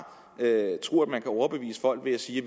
tro at man kan overbevise folk ved at sige at